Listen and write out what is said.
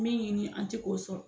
Min ɲini an te k'o sɔrɔ